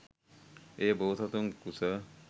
එය බෝසතුන් කුස